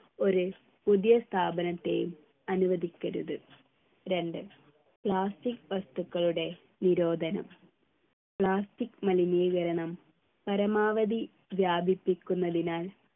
ഒരു പുതിയ സ്ഥാപനത്തെയും അനുവദിക്കരുത് രണ്ട് plastic വസ്തുക്കളുടെ നിരോധനം plastic മലിനീകരണം പരമാവധി വ്യാപിപ്പിക്കുന്നതിനാൽ